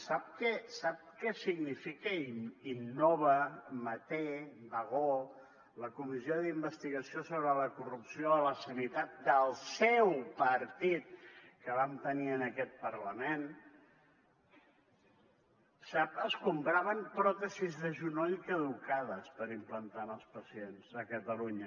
sap què significa innova manté bagó la comissió d’investigació sobre la corrupció a la sanitat del seu partit que vam tenir en aquest parlament ho sap es compraven pròtesis de genoll caducades per implantar als pacients a catalunya